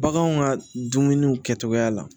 Baganw ka dumuniw kɛcogoya la